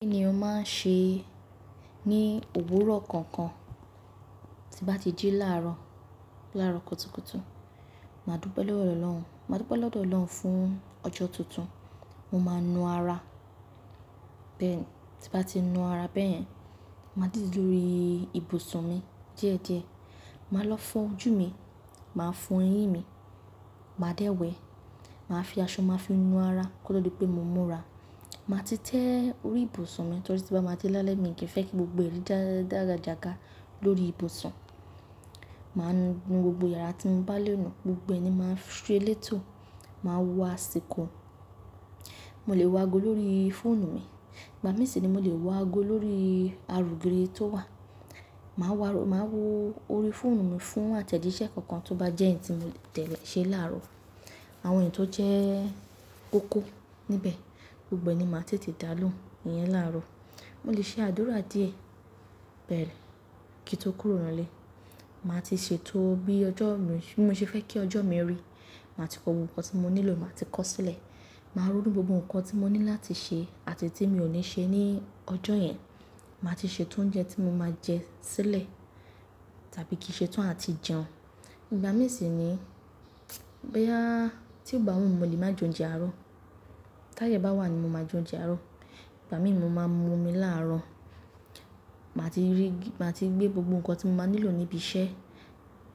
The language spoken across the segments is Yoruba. Kí ni ọ máa ń ṣe ní òwúrọ̀ kankan tí bá ti jí láàárọ̀, láàárọ̀ kùtùkùtù? Màá dúpe lowọ́ ọ́lọ́run, màá dúpe lodọ́ lọ́lọ́run fún ọjọ́ tuntun. Mo máa ń nu ara bẹ́ẹ̀ni. Ti bá ti nu ara bẹ́ẹ̀ yen màá dìde lórí ibùsùn mi díẹ̀díẹ̀. Màá lọ fo ojú mi, màá fo eyín mi, màá dẹ́wẹ́, màá fi aṣọ, màá fi nu ara kó tó di pé mo múra. Màá ti tẹ́ orí ìbùsùn mi torí tí bá máa dé lálẹ́ mi kì í fẹ́ kí gbogbo ẹ̀rí dàda-dàgàjàgà lórí ìbùsùn. Màá nu gbogbo yàrá tí mo bá lé ọ̀nà, gbogbo ẹnì máa ń fi se elétò. Màá wo asiko Mo lè wo ago lórí fóònù mi. Ìgbà mí sì ni mo lè wo ago lórí aroogiri tó wà. Màá wá, màá wo orí fóònù mi fún àtẹ̀jíṣẹ́ kankan tó bá jẹ́ ẹ̀yin tí mo tẹ̀lé ṣe láàárọ̀. Àwọn ènìyàn tó jẹ́ kókó níbẹ̀ gbogbo ni màá ti tètè dá lóhùn, ìyẹn láàárọ̀. Mo lè ṣe àdúrà díẹ̀ bẹ́ẹ̀ kí n tó kúrò nù lé. Màá ti ṣètò bí ọjọ́ mi, bí mo ṣe fẹ́ kí ọjọ́ mi rí. Màá ti kó gbogbo ohun tí mo nílò, màá ti kó sílẹ̀. Màá ronu gbogbo nǹkan tí mo ní láti ṣe àti eyi tí mi ò ní ṣe ní ọjọ́ yẹn. Màá ti ṣètò oúnjẹ tí mo máa jẹ sílẹ̀ tàbí kí n ṣètò àti jẹun. Ìgbà mí sì ni, boya tí ó bá wù mí mo lè máa jẹ oúnjẹ àárọ̀. Táye bá wà ni mo máa jẹ oúnjẹ àárọ̀. Ìgbà mí ni mo máa mú omi láàárọ̀. Màá ti rí, màá ti gbé gbogbo nǹkan tí mo máa nílò níbi iṣẹ́,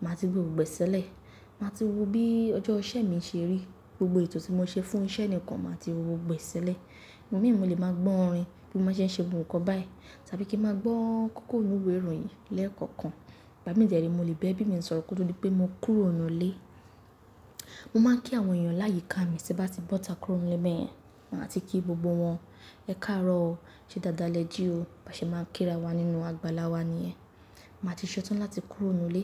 màá ti gbé gbogbo ẹ̀ẹ́ sílẹ̀. Màá ti wo bí ọjọ́ iṣẹ́ mi ṣe rí. Gbogbo ètò tí mo ṣe fún iṣẹ́ nìkan màá ti wo wọ́ gbogbo ẹ̀ẹ́ sílẹ̀. Ìgbà mí ni mo lè máa gbọ́ orin bí mo ṣe ń ṣe gbogbo nǹkan báyìí tàbí kí n máa gbọ́ kókó inú ìwé ìròyìn lẹ́ẹ̀kọ̀kan. Ìgbà mí dẹ̀ re ni mo lè bẹ́ẹ̀ bí mi ń sọro kó tó di pé mo kúrò nù lé. Mo máa ń kí àwọn ènìyàn láyìíká mi tí bá ti bọ́ta kúrò nù lé bẹ́ẹ̀ yẹn. Màá ti kí gbogbo wọn, "Ẹ káàárọ̀ o, ṣe dáadáa lẹ jí o." Bá ṣe máa ń kíra wa nínú àgbàlá wa ni yen Màá ti ṣetán láti kúrò nù lé.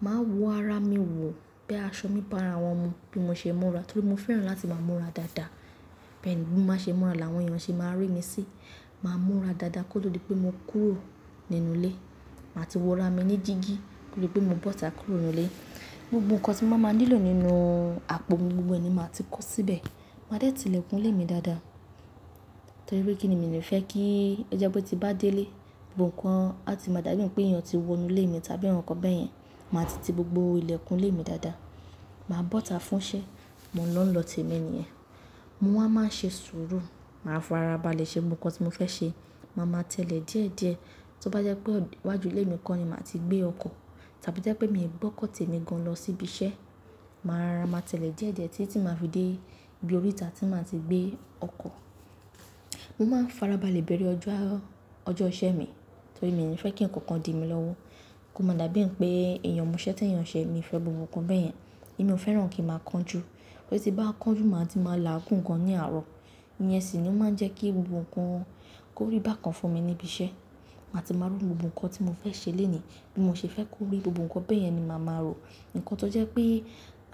Màá wọ ara mi wò pé aṣọ mi bá ara wọn mu bí mo ṣe ń múra torí mo fẹ́ràn láti máa múra dáadáa. Bẹ́ẹ̀ ni bí mo bá ṣe múra làwọn ènìyàn ṣe máa rí mi sí. Màá múra dáadáa kó tó di pé mo kúrò nínú lé. Màá ti wọ ara mi ní dígí kó tó di pé mo bọ́ta kúrò nù lé. Gbogbo nǹkan tí mo máa ń nílò nínú àpò mi gbogbo ẹni màá ti kó síbẹ̀. Màá dẹ́ẹ̀ tí ilẹ̀kùn ilé mi dáadáa torí pé kíni mi ni fẹ́ kí ẹ o jẹ́ pé tí bá dé ilé, gbogbo nǹkan á ti máa dájú pé ènìyàn ti wọ inú ilé mi tàbí nǹkan bẹ́ẹ̀ yẹn. Màá ti ti gbogbo ilẹ̀kùn ilé mi dáadáa. Màá bọ́ta fún iṣẹ́, mò ń lọ tẹ́mi ni ẹ́. Mo wá máa ń ṣe sùúrù. Màá farabalẹ̀ ṣe ohun kan tí mo fẹ́ ṣe. Màá máa tẹ́lẹ̀ díẹ̀díẹ̀ tí ó bá jẹ́ pé iwájú ilé mi kan ni màá ti gbé ọkọ̀ tàbí tí ó jẹ́ pé mi ò gbọ́kọ̀ tẹ́mi gan lọ síbi iṣẹ́. Màá rara maa tẹ́lẹ̀ díẹ̀díẹ̀ títí tí màá fi dé ibi oríta tí màá ti gbé ọkọ̀. Mo máa ń farabalẹ̀ bẹ̀rẹ̀ ọjọ́ àárọ̀, ọjọ́ iṣẹ́ mi torí mi ò ní fẹ́ kí nǹkan kan di mí lọ́wọ́. Kó máa dàbí ẹni pé èèyàn moṣẹ́ tí èèyàn ṣẹ mi fẹ́ gbogbo nǹkan bẹ́ẹ̀ yẹn. Èmi ò fẹ́ràn kí ń máa kánjú. Torí tí bá kánjú màá ti máa là ágún gan ní àárọ̀. Ìyẹn sì ni ó máa ń jẹ́ kí gbogbo nǹkan kórìí bá kan fún mi níbi iṣẹ́. Màá ti máa rún gbogbo nǹkan tí mo fẹ́ ṣe lónìí bí mo ṣe fẹ́ kó rí gbogbo nǹkan bẹ́ẹ̀ yẹn ni màá ma rò. Ǹkan tó jẹ́ pé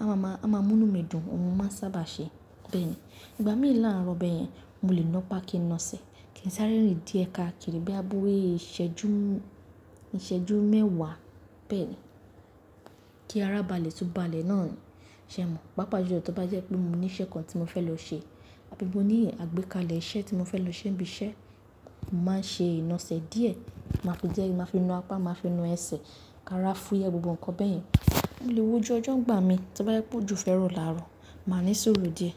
a máa mú inú mi dùn, ohun ni mo sábà ṣe bẹ́ẹ̀ ni. Ìgbà mí làárọ̀ bẹ́ẹ̀ yẹn mo lè ná pá kí n na ẹsẹ̀ kí n sáré rìn díẹ̀ káàkiri bí a bówé ìṣẹ́jú, ìṣẹ́jú mẹ́wàá bẹ́ẹ̀ ni kí ara balẹ̀ tún balẹ̀ náà ni ṣe mọ̀. Pápájulo tí ó bá jẹ́ pé mo ní iṣẹ́ kan tí mo fẹ́ lọ ṣe àbí mo ní àgbékalẹ̀ iṣẹ́ tí mo fẹ́ lọ ṣe níbi iṣẹ́, màá ṣe iná ẹsẹ̀ díẹ̀. Màá fi díẹ̀, màá fi na apá, màá fi na ẹsẹ̀ ká ara fún iyẹn gbogbo nǹkan bẹ́ẹ̀ yẹn. Mo lè wo ju ọjọ́ nigbà mí tí ó bá jẹ́ pé ojo fẹ́ roo làárọ̀. Màá ní sùúrù díẹ̀.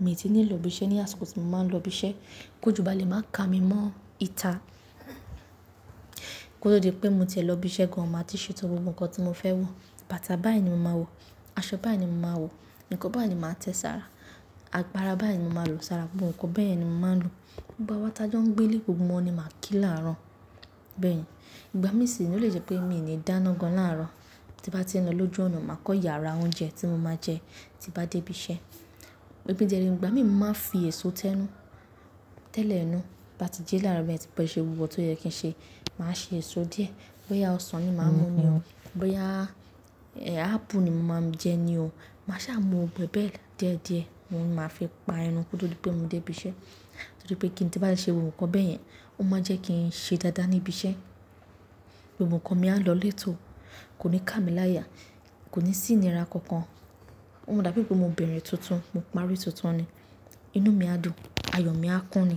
Èmi ti ní ìlò bí iṣẹ́ ní àsìkò tí mo máa ń lọ ibi iṣẹ́ kí ojo balẹ̀ máa ka mi mọ́ ìta kó tó di pé mo tiẹ̀ lọ ibi iṣẹ́ gan. Màá ti ṣètò gbogbo nǹkan tí mo fẹ́ wọ. Bàtà báyìí ni mo máa wọ̀, aṣọ báyìí ni mo máa wọ̀, nǹkan báyìí ni màá tẹ sára, àgbàrá báyìí ni mo máa lò sára gbogbo nǹkan bẹ́ẹ̀ yẹn ni mo máa ń lò. Gbogbo awon ta jọ ń gbé lé gbogbo wọn ni màá kí làárọ̀ bẹ́ẹ̀ ni. Ìgbà mí sì ni ó lè jẹ́ pé mi ò ní dáná gan làárọ̀. Ti bá ti ń lọ lójú ọ̀nà màá kọ́ yàrá oúnjẹ tí mo máa jẹ tí bá dé ibi iṣẹ́. Òbí díẹ̀ ni ìgbà mí màá fi èso tẹ́nú tẹ́lẹ̀ inú bá ti jí láàárọ̀ bẹ́ẹ̀ tí pé ṣe gbogbo nǹkan tó yẹ kí n ṣe. Màá ṣe èso díẹ̀. Boya ọsàn ni màá mú ni o. Boya eh, ápù ni mo máa ń jẹ ni o. Màá sá mu gbogbo e bẹ́ẹ̀ díẹ̀díẹ̀ oun ni máa fi pa enu kó tó di pé mo dé ibi iṣẹ́. Torí pé kí n tí bá ṣe gbogbo nǹkan bẹ́ẹ̀ yẹn, ó máa jẹ́ kí n ṣe dáadáa ní ibi iṣẹ́. Gbogbo nǹkan mi á lọ létò. Kò ní ká mi láya, kò ní sì ni ra nǹkan kan. Ó máa dàbí pé mo beere tuntun, mo parí tuntun ni. Inú mi á dùn, ayọ̀ mi á kún ni.